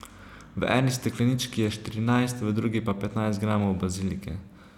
V eni steklenički je štirinajst, v drugi pa petnajst gramov bazilike.